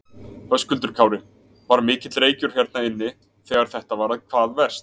Höskuldur Kári: Var mikill reykur hérna inni þegar þetta var hvað verst?